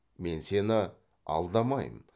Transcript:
мен сені алдамаймын